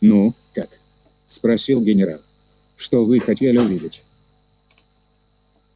ну как спросил генерал что вы хотели увидеть